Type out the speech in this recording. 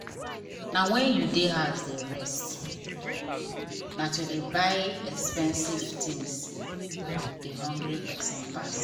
na wen you dey house dey rest na to dey buy expensive things dey hungry person pass.